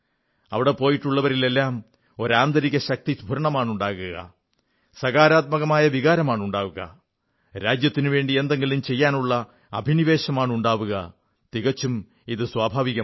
അവിടെ പോയിട്ടുള്ളവരിലെല്ലാം ഒരു ആന്തരിക ശക്തിസ്ഫുരണമുണ്ടാവുക സകാരാത്മകമായ വികാരമുണ്ടാവുക രാജ്യത്തിനുവേണ്ടി എന്തെങ്കിലും ചെയ്യാനുള്ള അഭിനിവേശമുണ്ടാവുക ഇവയൊക്കെ തികച്ചും സ്വാഭാവികമാണ്